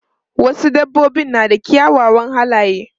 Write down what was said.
Wasu dabbobin na da kyawawan halaye.